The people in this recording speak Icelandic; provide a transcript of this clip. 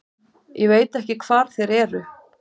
Ég veit ekki hvar þeir eru.